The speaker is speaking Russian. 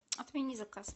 отмени заказ